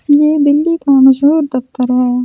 ये दिल्ली का मशहूर दफ्तर है ।